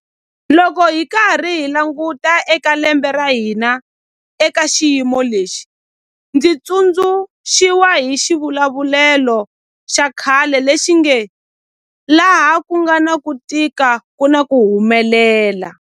Loko hi karhi hi languta eka lembe ra hina eka xiyimo lexi, ndzi tsundzu xiwa hi xivulavulelo xa khale lexi nge 'laha ku nga na ku tika ku na ku humelela'.